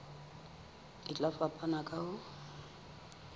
e tla fapana ka ho